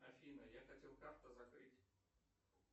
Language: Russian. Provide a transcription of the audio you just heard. афина я хотел карту закрыть